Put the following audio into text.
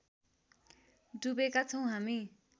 डुबेका छौँ हामी